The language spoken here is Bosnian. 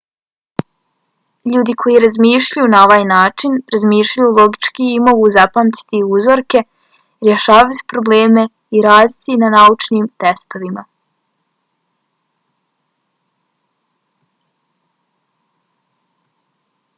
ljudi koji razmišljaju na ovaj način razmišljaju logički i mogu zapamtiti uzorke rješavati probleme i raditi na naučnim testovima